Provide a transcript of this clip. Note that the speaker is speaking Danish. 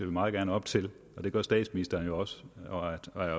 vi meget gerne op til og det gør statsministeren jo også og er